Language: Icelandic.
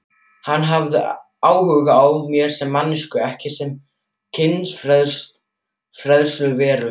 Hann hafði áhuga á mér sem manneskju ekki sem kynferðisveru?